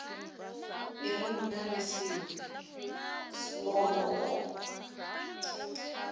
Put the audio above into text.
e re nna le sponono